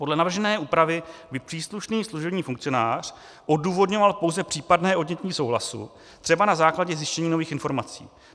Podle navržené úpravy by příslušný služební funkcionář odůvodňoval pouze případné odnětí souhlasu třeba na základě zjištění nových informací.